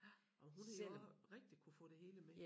Og hun har jo også rigtig kunne få det hele med